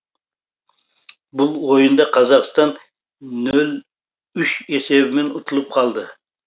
бұл ойында қазақстан нөл үш есебімен ұтылып қалды